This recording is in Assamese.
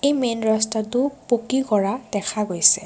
মেইন ৰাস্তাটো পকী কৰা দেখা গৈছে।